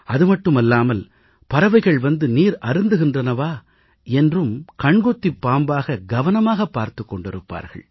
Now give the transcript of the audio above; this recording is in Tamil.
அது மட்டுமில்லாமல் பறவைகள் வந்து நீர் அருந்துகின்றனவா என்றும் கண்கொத்திப் பாம்பாக கவனமாகப் பார்த்துக் கொண்டிருப்பார்கள்